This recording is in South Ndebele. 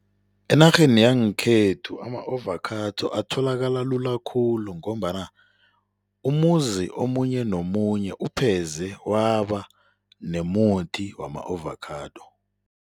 Enarheni yangekhethu ama-ovakhado atholakala lula khulu ngombana umuzi omunye nomunye upheze waba nomuthi wama-ovakhado.